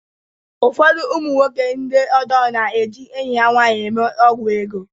Ụfọdụ ụmụ nwoke ndi ọjọọ na-eji enyi ha nwanyị eme ọgwụ ego.